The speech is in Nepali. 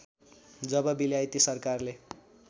जब बेलायती सरकारले